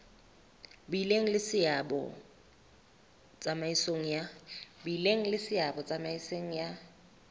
bileng le seabo tsamaisong ya